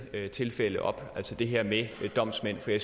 tilfælde op altså det her med domsmænd for jeg